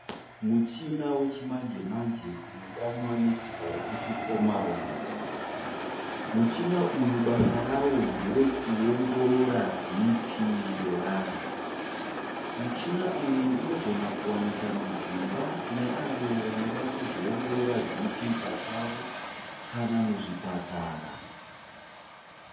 Muchina wechimanje manje unodanwa nezita rekuti omaron. Muchina uyu basa rawo nderekuongorora BP yevanhu. Muchina uyu unogona kuwanika mudzimba kune avo vanoda kuzviongorora BP pachavo kana muzvipatara.